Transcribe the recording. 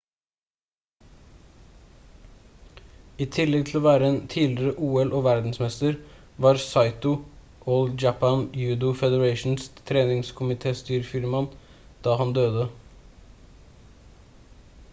i tillegg til å være en tidligere ol-og verdensmester var saito all japan judo federations treningskomitestyreformann da han døde